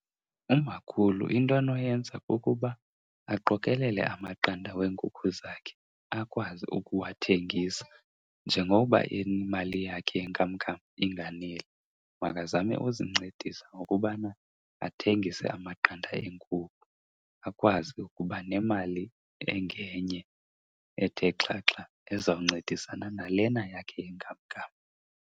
Umakhulu into anoyenza kukuba aqokelele amaqanda weenkukhu zakhe akwazi ukuwathengisa. Njengokuba imali yakhe yenkamnkam inganeli, makazame uzincedisa ngokubana athengise amaqanda eenkukhu akwazi ukuba nemali engenye ethe xhaxha ezawuncedisana nalena yakhe yenkamnkam.